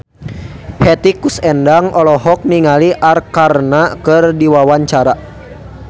Hetty Koes Endang olohok ningali Arkarna keur diwawancara